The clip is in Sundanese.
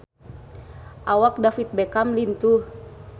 Awak David Beckham lintuh